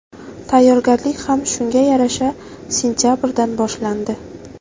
Tayyorgarlik ham shunga yarasha sentabrdan boshlandi.